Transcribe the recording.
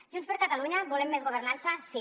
junts per catalunya volem més governança sí